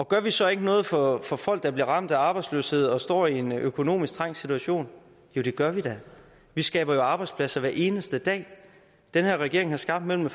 gør vi så ikke noget for for folk der bliver ramt af arbejdsløshed og står i en økonomisk trængt situation jo det gør vi da vi skaber jo arbejdspladser hver eneste dag den her regering har skabt mellem